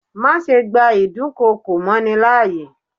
Má ṣe gba ìdún kokò mọ́ ni láàyè.